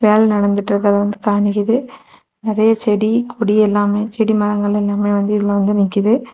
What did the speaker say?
வேல நடந்துகிட்டு இருக்கு காமிக்குது நிறைய செடி கொடி எல்லாமே செடி மேல வந்து நிக்குது.